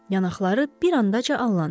Yanaqları bir anda allandı.